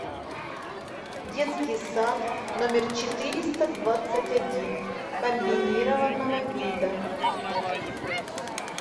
детский сад номер четыреста двадцать один комбинированного вида